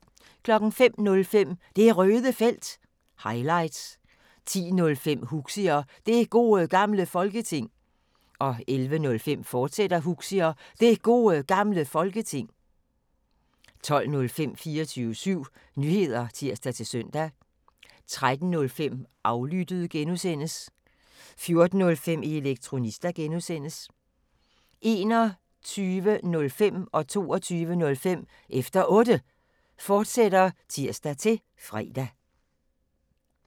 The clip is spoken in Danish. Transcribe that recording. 05:05: Det Røde Felt – highlights 10:05: Huxi og Det Gode Gamle Folketing 11:05: Huxi og Det Gode Gamle Folketing, fortsat 12:00: 24syv Nyheder (tir-søn) 13:05: Aflyttet (G) 14:05: Elektronista (G) 21:05: Efter Otte, fortsat (tir-fre) 22:05: Efter Otte, fortsat (tir-fre)